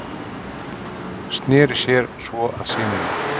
Sneri sér svo að syninum.